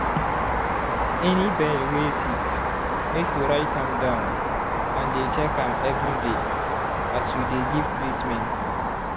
any bird wey sick make you write am down and dey check am every day as you dey give treatment.